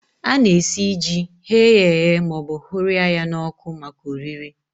Ana-esi ji, ghee ya eghee maọbụ hụrịa ya n'ọkụ maka oriri